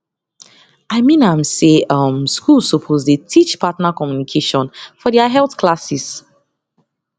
i mean am say um schools suppose dey teach partner communication for their health classes